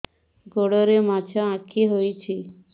ଗୋଡ଼ରେ ମାଛଆଖି ହୋଇଛି